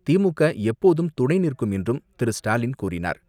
திமுக எப்போதும் துணை நிற்கும் என்றும் திரு. ஸ்டாலின் கூறினார்